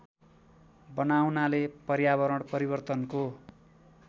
बनाउनाले पर्यावरण परिवर्तनको